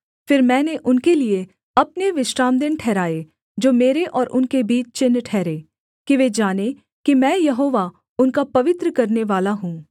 फिर मैंने उनके लिये अपने विश्रामदिन ठहराए जो मेरे और उनके बीच चिन्ह ठहरें कि वे जानें कि मैं यहोवा उनका पवित्र करनेवाला हूँ